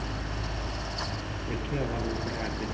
ଦେଖିଆ ବହୁତ ଜାଗା ଅଛି ।